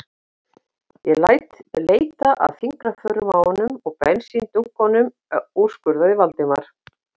Ég læt leita að fingraförum á honum og bensíndunkunum- úrskurðaði Valdimar.